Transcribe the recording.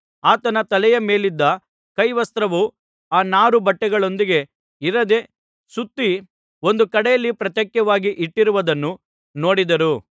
ಆತನ ತಲೆಯ ಮೇಲಿದ್ದ ಕೈವಸ್ತ್ರವು ಆ ನಾರು ಬಟ್ಟೆಗಳೊಂದಿಗೆ ಇರದೇ ಸುತ್ತಿ ಒಂದು ಕಡೆಯಲ್ಲಿ ಪ್ರತ್ಯೇಕವಾಗಿ ಇಟ್ಟಿರುವುದನ್ನು ನೋಡಿದನು